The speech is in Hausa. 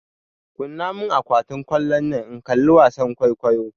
Kunna mun akwatin kallonnan in kalli wasan kwaikwayo!